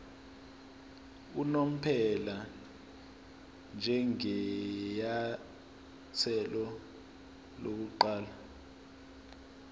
unomphela njengenyathelo lokuqala